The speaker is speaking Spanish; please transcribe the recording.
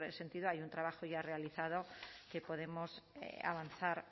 sentido hay un trabajo ya realizado que podemos avanzar